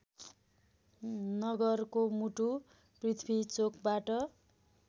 नगरको मुटु पृथ्वीचोकबाट